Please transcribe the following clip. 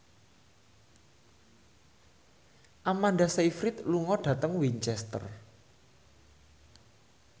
Amanda Sayfried lunga dhateng Winchester